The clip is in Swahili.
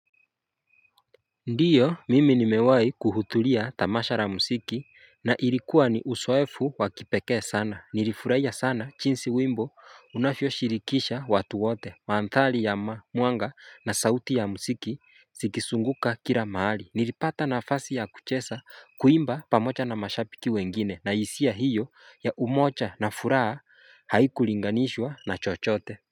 Ndiyo mimi nimewai kudhutulia tamashara musiki na ilikuwa ni usoefu wakipekee sana nilifureya sana chinsi wimbo unafyo shirikisha watu wote maadthali ya ma muanga na sauti ya musiki sikisunguka kila maali nilipata na afasi ya kuchesa kuimba pamocha na mashapi kiwengine na isia hiyo ya umocha na furaa haiku linganishwa na chochote.